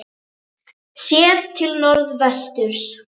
Séð til norðvesturs.